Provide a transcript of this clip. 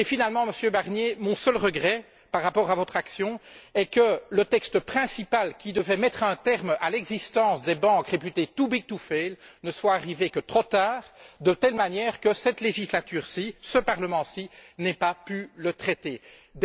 Finalement, Monsieur Barnier, mon seul regret par rapport à votre action, est que le texte principal, qui devait mettre un terme à l'existence des banques réputées too big to fail, ne soit arrivé que trop tard, de telle manière qu'au cours de cette législature, il n'a pas pu être traité par ce Parlement.